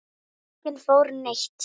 Enginn fór neitt.